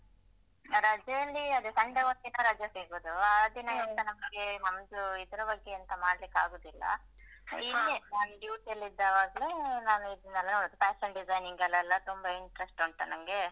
ರಜೆಯಲ್ಲಿ ಅದೇ Sunday ಒಂದಿನ ರಜೆ ಸಿಗುದು ಆ ದಿನ ಎಲ್ಲ ನಮ್ಗೆ ಮನ್ಸು ಇದರ ಬಗ್ಗೆ ಎಂತ ಮಾಡ್ಲಿಕ್ಕಾಗುದಿಲ್ಲ ಇಲ್ಲಿಯೇ ನಾನ್ duty ಅಲ್ಲಿದ್ದಾಗ್ಲೇ ನಾನು ಇದ್ನೆಲ್ಲ ನೋಡುದು fashion design ಗಲ್ಲೆಲ್ಲ ತುಂಬ interest ಉಂಟ ನಂಗೆ.